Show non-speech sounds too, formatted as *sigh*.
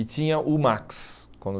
E tinha o Max. *unintelligible*